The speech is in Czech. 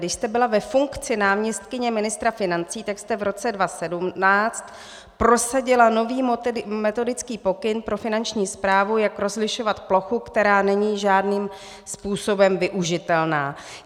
Když jste byla ve funkci náměstkyně ministra financí, tak jste v roce 2017 prosadila nový metodický pokyn pro Finanční správu, jak rozlišovat plochu, která není žádným způsobem využitelná.